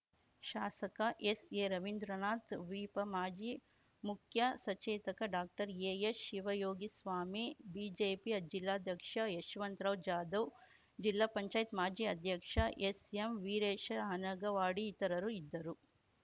ಶಾಸಕ ಎಸ್‌ಎರವಿಂದ್ರನಾಥ್ ವಿಪ ಮಾಜಿ ಮುಖ್ಯ ಸಚೇತಕ ಡಾಕ್ಟರ್ಎಎಚ್‌ಶಿವಯೋಗಿಸ್ವಾಮಿ ಬಿಜೆಪಿ ಜಿಲ್ಲಾಧ್ಯಕ್ಷ ಯಶವಂತರಾವ್‌ ಜಾಧವ್‌ ಜಿಲ್ಲಾ ಪಂಚಾಯತ್ ಮಾಜಿ ಅಧ್ಯಕ್ಷ ಎಸ್‌ಎಂವೀರೇಶ ಹನಗವಾಡಿ ಇತರರು ಇದ್ದರು